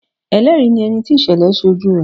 Ẹlẹ́rìí ni ẹni tí ìṣẹ̀lẹ̀ ṣe ojú rẹ̀.